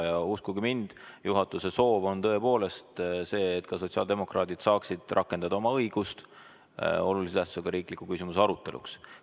Ja uskuge mind, juhatuse soov on tõepoolest see, et ka sotsiaaldemokraadid saaksid rakendada oma õigust olulise tähtsusega riikliku küsimuse aruteluks.